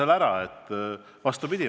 Vastupidi!